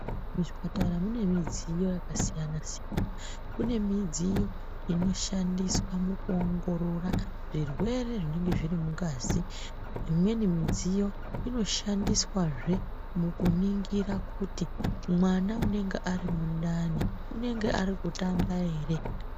Muzvipatara mune midziyo yakasiyana siyana. Mune midziyo inoshandiswa pakuoongoorora zvirwere zvinenge zviri mungazi. Imweni mudziyo inoshandiswa zve mukuningira kuti mwana unenge ari mundani unenge ari kutamba ere?